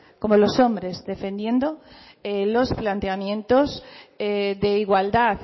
como los hombres defendiendo los planteamientos de igualdad